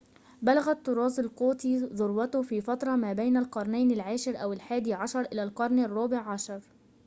بلغ الطراز القوطي ذروته في فترة ما بين القرنين العاشر أو الحادي عشر إلى القرن الرابع عشر